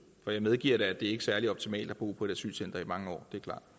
for jeg medgiver da at det ikke er særlig optimalt at bo på et asylcenter i mange år